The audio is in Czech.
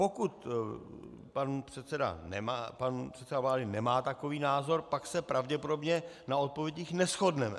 Pokud pan předseda vlády nemá takový názor, pak se pravděpodobně na odpovědích neshodneme.